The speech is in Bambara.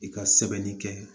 I ka sɛbɛnni kɛ